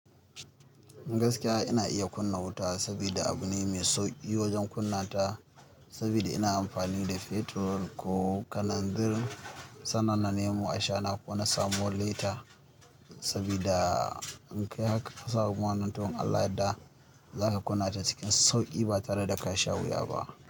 Gaskiya ina iya kunna wuta saboda abu ne mai sauƙi wajen kunna ta. Saboda ina amfani da fetur ko kananzir sannan na nemo ashana ko na samo leta saboda in kai haka ka samu wannan to in Allah ya yadda za ka kunna ta cikin sauƙi ba tare da ka sha wuya ba.